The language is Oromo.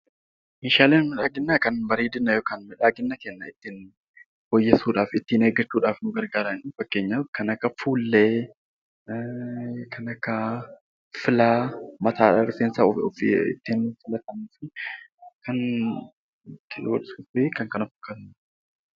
Meeshaaleen miidhaginaa kan miidhagina keenya ittiin fooyyessuudhaaf kan nu gargaaranidha. Fakkeenyaaf kanneen akka fuullee, filaa mataa fi kan kana fakkaatanidha.